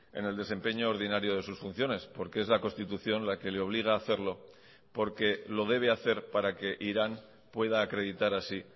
en el desempeño ordinario de sus funciones porque es la constitución la que le obliga a hacerlo porque lo debe hacer para que irán pueda acreditar así